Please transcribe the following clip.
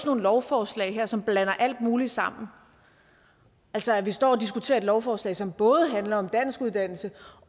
nogle lovforslag som blander alt muligt sammen altså at vi står og diskuterer et lovforslag som både handler om danskuddannelse